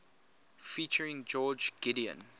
featuring george gideon